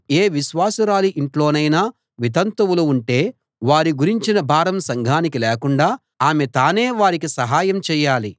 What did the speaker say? ఏ విశ్వాసురాలి ఇంట్లోనైనా వితంతువులు ఉంటే వారి గురించిన భారం సంఘానికి లేకుండా ఆమె తానే వారికి సహాయం చేయాలి